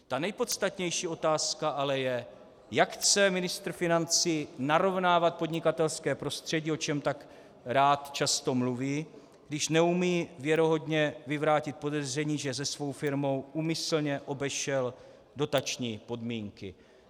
Ta nejpodstatnější otázka ale je, jak chce ministr financí narovnávat podnikatelské prostředí, o čem tak rád často mluví, když neumí věrohodně vyvrátit podezření, že se svou firmou úmyslně obešel dotační podmínky.